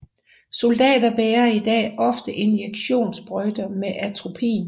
Soldater bærer i dag ofte injektionssprøjter med atropin